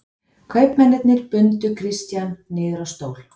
Kaupmennirnir bundu Christian niður á stól.